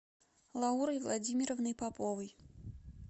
лаурой владимировной поповой